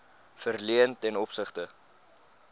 verleen ten opsigte